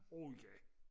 åh ja